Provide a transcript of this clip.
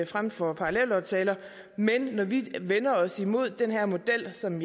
frem for en parallelaftale men når vi vender os imod den her model som